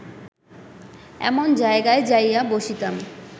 এমন জায়গায় যাইয়া বসিতাম